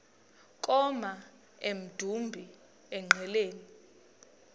koma emdumbi engqeleni